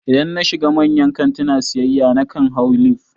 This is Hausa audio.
Idan na shiga manyan kantina siyayya, na kan hau lif